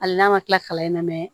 Hali n'a ma kila kalan in na mɛ